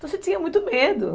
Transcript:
Então, você tinha muito medo.